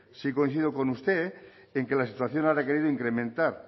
sí coincido con usted en que la situación ha requerido incrementar